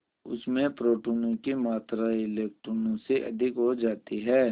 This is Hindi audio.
उसमें प्रोटोनों की मात्रा इलेक्ट्रॉनों से अधिक हो जाती है